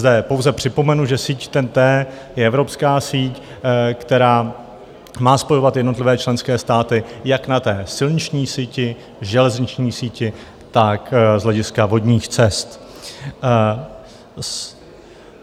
Zde pouze připomenu, že síť TEN-T je evropská síť, která má spojovat jednotlivé členské státy jak na silniční síti, železniční síti, tak z hlediska vodních cest.